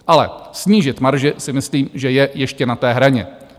Ale snížit marže si myslím, že je ještě na té hraně.